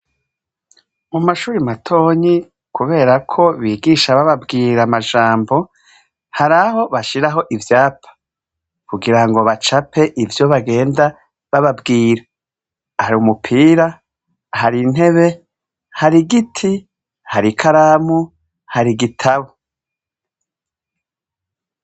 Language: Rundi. Mu mashure matonyi kubera ko bigisha bababwira amajambo, hari aho bashiraho ivyapa kugira ngo bacape ivyo bagenda bababwira. Hari umupira, hari intebe, hari igiti, hari ikaramu, hari igitabo.